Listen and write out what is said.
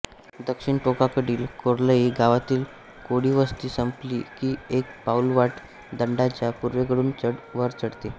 दक्षिण टोकाकडील कोर्लई गावातील कोळीवस्ती संपली की एक पाऊलवाट दांडाच्या पूर्वेकडून वर चढते